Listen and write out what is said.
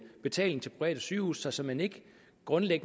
betalingen til private sygehuse sig såmænd ikke grundlæggende